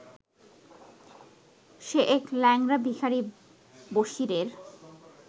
সে এক ল্যাংড়া ভিখারি বসিরের